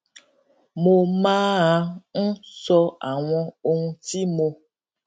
mo máa ń sọ àwọn ohun tí mo